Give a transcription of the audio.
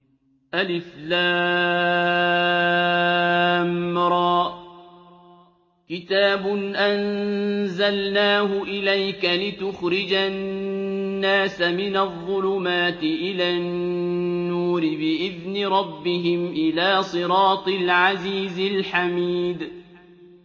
الر ۚ كِتَابٌ أَنزَلْنَاهُ إِلَيْكَ لِتُخْرِجَ النَّاسَ مِنَ الظُّلُمَاتِ إِلَى النُّورِ بِإِذْنِ رَبِّهِمْ إِلَىٰ صِرَاطِ الْعَزِيزِ الْحَمِيدِ